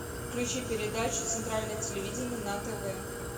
включи передачу центральное телевидение на тв